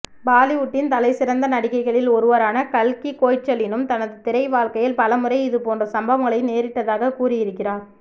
பாலிவுட்டின் தலைசிறந்த நடிகைகளில் ஒருவரான கல்கி கோய்ச்லினும் தனது திரை வாழ்க்கையில் பலமுறை இதுபோன்ற சம்பவங்களை நேரிட்டதாக கூறியிருக்கிறார்